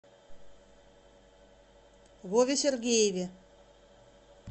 вове сергееве